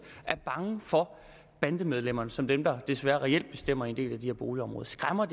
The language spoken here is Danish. og er bange for bandemedlemmerne som er dem der desværre reelt bestemmer i en del af de her boligområder skræmmer